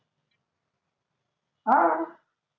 हा आह